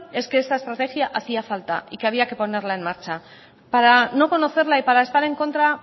es que esta estrategia hacía falta y que había que ponerla en marcha para no conocerla y para estar en contra